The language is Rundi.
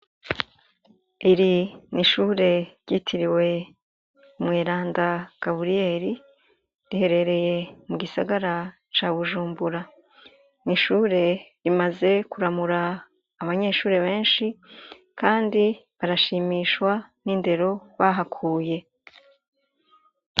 Iri n'ishure ryitiriwe Umweranda Gaburiyeri riherereye mu gisagara ca Bujumbura. N'ishure imaze kuramura abanyeshure benshi kandi barashimishwa n'indero bahakuye.